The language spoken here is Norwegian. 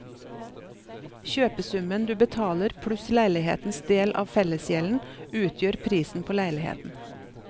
Kjøpesummen du betaler pluss leilighetens del av fellesgjelden utgjør prisen på leiligheten.